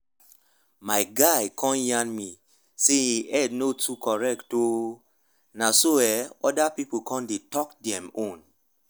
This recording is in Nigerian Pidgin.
my guy con yarn me say e head no too dey correct o na so ehh oda people come dey talk dem own